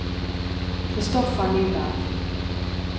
Christopher Nyberg